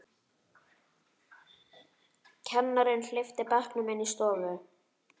Kennarinn hleypti bekknum inn í stofu.